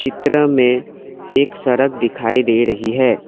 चित्र में एक सड़क दिखाई दे रही है।